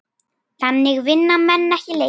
Þannig vinna menn ekki leiki.